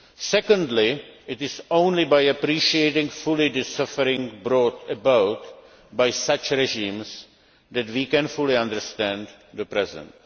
Secondly, it is only by appreciating fully the suffering brought about by such regimes that we can fully understand the present.